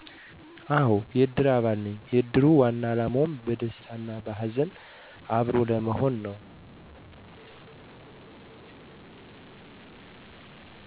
አሆ የእድር አባል ነኝ የእድር ዋና አላማው በደስታም በሀዘንም አብሮ ለመሆን ነው